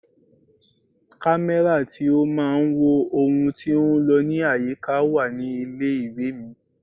Kámẹ́rà tí ó máa ń wo ohun tí ó ń lọ ní àyíká wà ní ilé ìwé mi.